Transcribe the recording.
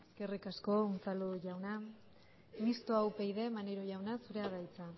eskerrik asko unzalu jauna mistoa upyd maneiro jauna zurea da hitza